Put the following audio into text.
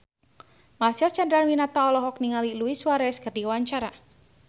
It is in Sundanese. Marcel Chandrawinata olohok ningali Luis Suarez keur diwawancara